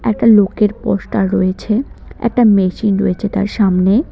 একটা লোকের পোস্টার রয়েছে একটা মেশিন রয়েছে তার সামনে।